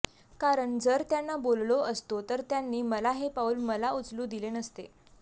कारण जर त्यांना बोललो असतो तर त्यांनी मला हे पाऊल मला उचलू दिले नसते